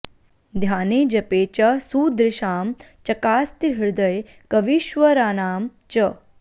ध्याने जपे च सुदृशां चकास्ति हृदये कवीश्वराणां च